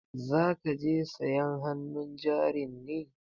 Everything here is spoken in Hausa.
Za ka je sayan hannun jarin ne?